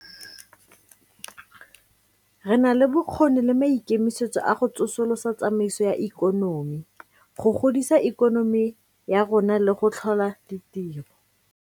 Re na le bokgoni le maikemisetso a go tsosolosa tsamaiso ya ikonomi, go godisa ikonomi ya rona le go tlhola ditiro.